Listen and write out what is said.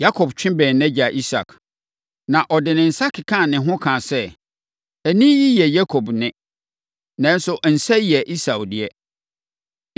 Yakob twe bɛn nʼagya Isak, na ɔde ne nsa kekaa ne ho kaa sɛ, “Nne yi yɛ Yakob nne, nanso nsa yi yɛ Esau deɛ.”